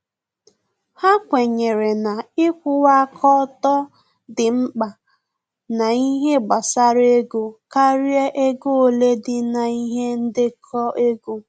Ha kwenyere na ikwuwa aka ọtọ dị mkpa na ihe gbasara ego karịa ego ole dị na-ihe ndekọ ego